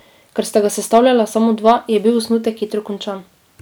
Ker sta ga sestavljala samo dva, je bil osnutek hitro končan.